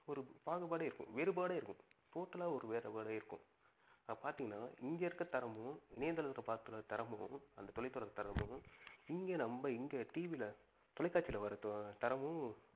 ஒரு பாகுபாடே இருக்கும், வேறுபாடே இருக்கும். total ஆ வேறுபாடே இருக்கும். இப்ப பாத்திங்கனா இங்க இருக்குற திரைமுகமும், நேர்களிடம் பார்க்கும் திரைமுகமும், இங்க நம்ப இங்க TV ல தொலைகாட்சில வர திரைமுகமும்